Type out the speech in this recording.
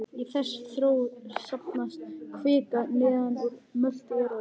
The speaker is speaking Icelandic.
Í þessa þró safnast kvika neðan úr möttli jarðar.